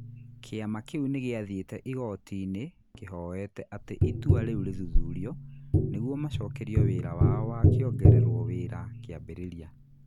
Kĩama kĩu nĩ gĩathiĩte igooti-inĩ kĩhoete atĩ itua rĩu ri thũthurio nĩguo macokerio wira wao wa kĩongererwo wĩra kĩambĩrĩria.